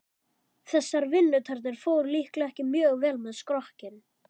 Þessar vinnutarnir fóru líklega ekki mjög vel með skrokkinn.